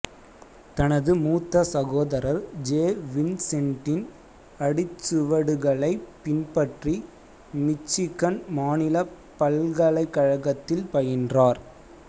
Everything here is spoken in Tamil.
தனது மூத்த சகோதரர் ஜே வின்சென்ட்டின் அடிச்சுவடுகளைப் பின்பற்றி மிச்சிகன் மாநில பல்கலைக்கழகத்தில் பயின்றார்